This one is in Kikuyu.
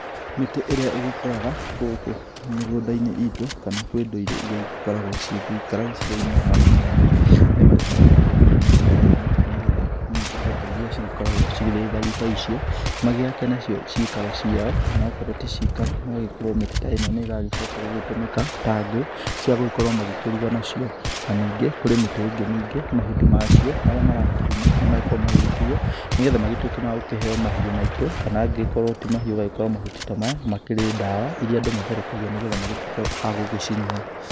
Mĩtĩ ĩrĩa ĩgĩkũraga gũkũ mĩgũnda-inĩ itũ kana kwĩ ndũrĩrĩ iria igĩkoragwoigĩikara icigo-inĩ mwanya mwanya. Nĩ magĩkoragwo magĩkũria mĩtĩ ta ĩno nĩ getha indo ta iria cigĩkoragwo cirĩ thari ta icio magĩake nacio cikaro ciao kana okorwo ti cikaro magagĩkorwo mĩtĩ ta ĩno nĩ ĩgagĩcoka gũgĩtũmĩka ta ngũ cia gũgĩkorwo magĩkĩruga nacio. Na ningĩ kwĩ mĩtĩ ingĩ ningĩ mahuti macio marĩa marakiuma nĩ makoragwo magĩgĩtuo nĩ getha magĩtuĩke magũkĩheo mahiũ maitũ. Kana angĩgĩkorwo ti mahiũ ũgagĩkora mahuti ta maya nĩ makĩrĩ ndawa iria andũ matherũkagia nĩ getha magĩtuĩke agũgĩcinyua.